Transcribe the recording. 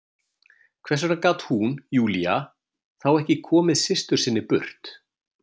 Hvers vegna gat hún, Júlía, þá ekki komið systur sinni burt?